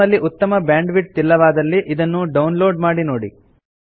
ನಿಮ್ಮಲ್ಲಿ ಉತ್ತಮ ಬ್ಯಾಂಡ್ವಿಡ್ತ್ ಇಲ್ಲವಾದಲ್ಲಿ ಇದನ್ನು ಡೌನ್ ಲೋಡ್ ಮಾಡಿ ನೋಡಿ